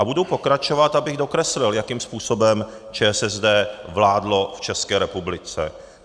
A budu pokračovat, abych dokreslil, jakým způsobem ČSSD vládlo v České republice.